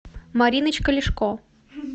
мариночка лешко